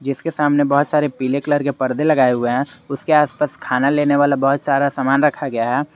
इसके सामने बहुत सारे पीले कलर के पर्दे लगाए हुए हैं उसके आसपास खाना लेने वाला बहुत सारा सामान रखा गया है।